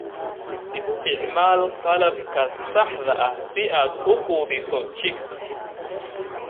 Isticmaal qalabka saxda ah si aad u quudiso chicks.